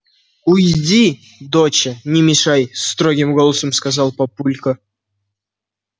уйди доча не мешай строгим голосом сказал папулька